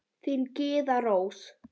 Þín, Gyða Rós.